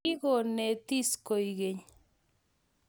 Kigonetis koek keny